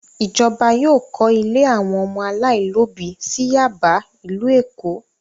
Ìjọba yóò kọ́ ilé àwọn ọmọ aláìlóòbí sí Yáàbá, ìlú Èkó!